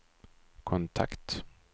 kontakt